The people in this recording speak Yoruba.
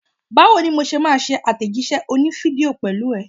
Báwo ni mo ṣe máa ṣe àtẹ̀jíṣẹ́ òní fídíò pẹ̀lú ẹ?